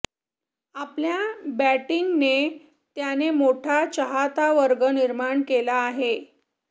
आपल्या बॅटिंगने त्याने मोठा चाहतावर्ग निर्माण केला आहे